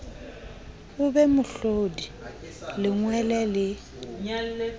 o be mohlodi lengwele le